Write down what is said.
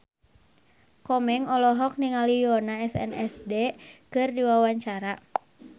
Komeng olohok ningali Yoona SNSD keur diwawancara